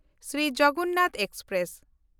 Shri Jagannath express